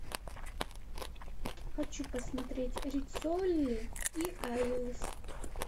хочу посмотреть риццоли и айлс